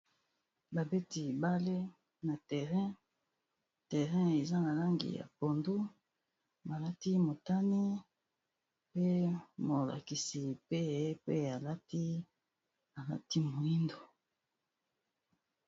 babeti bale na terrain eza na langi ya pandu balati motani pe molakisi pe pe alati alati moindo